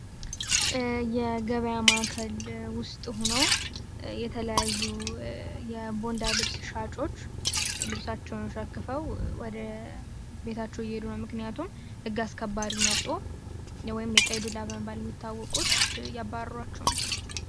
የገበያ ማዕከል ውስጥ ሆኖ የተለያዩ የቦንዳ ልብስ ሻጮች ልብሳቸውን ሸክፈው ወደ ቤታቸው እየሄዱ ነው፤ ምክንያቱም ህግ አስከባሪ መጦ ወይም የቀይ ዱላ በመባል የሚታወቁት እያባረሯቸው ነው።